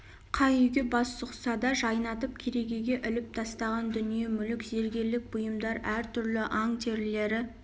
қай үйге бас сұқса да жайнатып керегеге іліп тастаған дүние мүлік зергерлік бұйымдар әр түрлі аң терілері